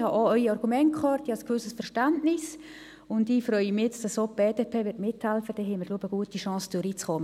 Ich habe Ihre Argumente gehört und habe ein gewisses Verständnis, und wenn jetzt auch die BDP mithilft, haben wir gute Chancen, durchzukommen.